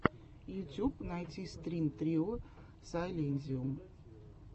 ютьюб найти стрин трио сайлэнзиум